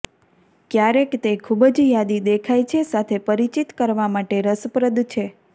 ક્યારેક તે ખૂબ જ યાદી દેખાય છે સાથે પરિચિત કરવા માટે રસપ્રદ છે